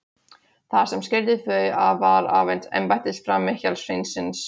Það sem skildi þau að var aðeins embættisframi hjarðsveinsins.